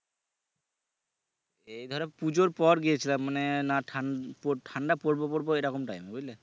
এই ধরো পূজোর পর গিয়েছিলাম মানে আহ না ঠান্ডা পরবে পরবে এরকম time এ বুঝলে